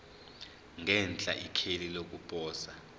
ngenhla ikheli lokuposa